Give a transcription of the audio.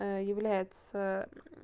является